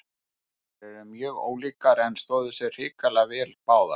Þær eru mjög ólíkar en stóðu sig hrikalega vel báðar.